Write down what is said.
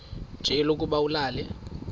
nje lokuba ulale